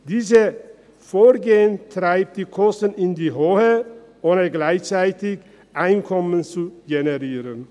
Dieses Vorgehen treibt die Kosten in die Höhe, ohne dass dabei gleichzeitig Einkommen generiert wird.